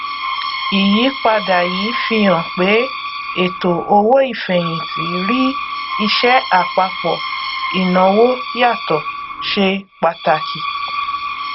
ìyípadà yìí fihàn pé àwọn ètò owó ìfẹyìntì rí ìṣe àpapọ ìnáwó yàtọ ṣe pàtàkì